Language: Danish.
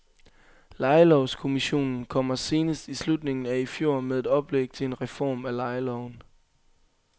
Lejelovskommissionen kommer senest i slutningen af i fjor med et oplæg til en reform af lejeloven.